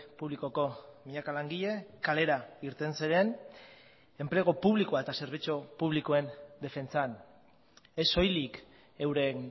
publikoko milaka langile kalera irten ziren enplegu publikoa eta zerbitzu publikoen defentsan ez soilik euren